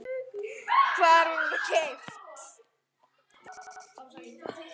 Hvar var hún keypt?